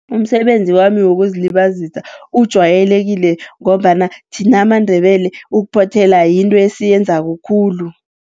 Umsebenzi wami wokuzilibazisa ujwayelekile, ngombana thina amaNdebele ukuphothela yinto esiyenzako, khulu.